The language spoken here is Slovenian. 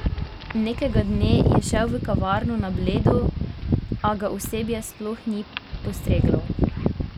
Nekega dne je šel v kavarno na Bledu, a ga osebje sploh ni postreglo!